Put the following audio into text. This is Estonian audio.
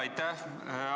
Aitäh!